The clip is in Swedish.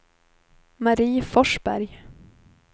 Marie Forsberg